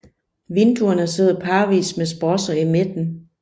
Vinduerne sidder parvis med sprosser i midten